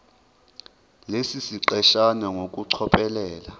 lesi siqeshana ngokucophelela